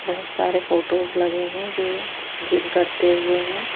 बहुत सारे फोटोस --